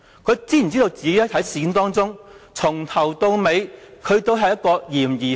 他知否自己在事件中，由始至終都是一個嫌疑犯？